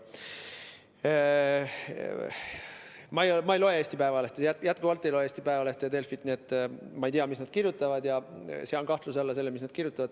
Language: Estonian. Ma ei loe Eesti Päevalehte, jätkuvalt ei loe Eesti Päevalehte ja Delfit, nii et ma ei tea, mis nad kirjutavad, ja sean kahtluse alla selle, mis nad kirjutavad.